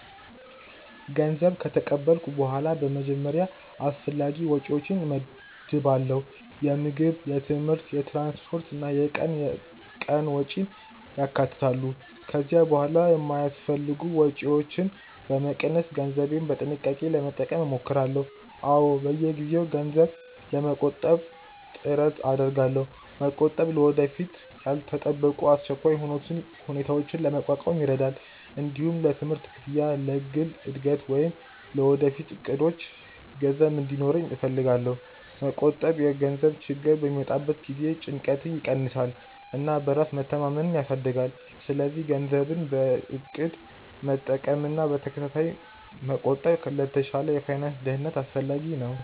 ገንዘብ ከተቀበልኩ በኋላ በመጀመሪያ አስፈላጊ ወጪዎቼን እመድባለሁ። የምግብ፣ የትምህርት፣ የትራንስፖርት እና የቀን ቀን ወጪን ያካትታሉ። ከዚያ በኋላ የማይአስፈልጉ ወጪዎችን በመቀነስ ገንዘቤን በጥንቃቄ ለመጠቀም እሞክራለሁ። አዎ፣ በየጊዜው ገንዘብ ለመቆጠብ ጥረት አደርጋለሁ። መቆጠብ ለወደፊት ያልተጠበቁ አስቸኳይ ሁኔታዎችን ለመቋቋም ይረዳል። እንዲሁም ለትምህርት ክፍያ፣ ለግል እድገት ወይም ለወደፊት እቅዶቼ ገንዘብ እንዲኖረኝ እፈልጋለሁ። መቆጠብ የገንዘብ ችግር በሚመጣበት ጊዜ ጭንቀትን ይቀንሳል እና በራስ መተማመንን ያሳድጋል። ስለዚህ ገንዘብን በእቅድ መጠቀምና በተከታታይ መቆጠብ ለተሻለ የፋይናንስ ደህንነት አስፈላጊ ነው።